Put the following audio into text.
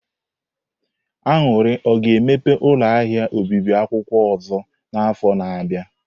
Aṅụri o ga-emepe ụlọ ahịa obibi akwụkwọ ọzọ n'afọ na-abịa?